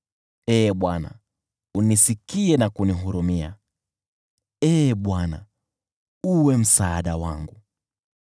Ee Bwana , unisikie na kunihurumia, Ee Bwana , uwe msaada wangu.”